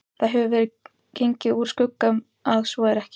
Það hefur verið gengið úr skugga um, að svo er ekki